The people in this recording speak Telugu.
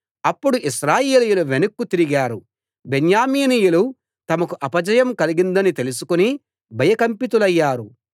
అప్పుడు ఇశ్రాయేలీయులు వెనక్కు తిరిగారు బెన్యామీనీయులు తమకు అపజయం కలిగిందని తెలుసుకుని భయకంపితులయ్యారు